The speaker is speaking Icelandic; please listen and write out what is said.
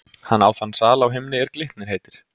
Hann á þann sal á himni, er Glitnir heitir.